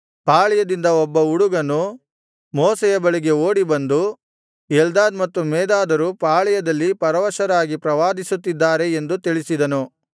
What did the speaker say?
ಪಾಳೆಯದಿಂದ ಒಬ್ಬ ಹುಡುಗನು ಮೋಶೆಯ ಬಳಿಗೆ ಓಡಿ ಬಂದು ಎಲ್ದಾದ್ ಮತ್ತು ಮೇದಾದರು ಪಾಳೆಯದಲ್ಲಿ ಪರವಶರಾಗಿ ಪ್ರವಾದಿಸುತ್ತಿದ್ದಾರೆ ಎಂದು ತಿಳಿಸಿದನು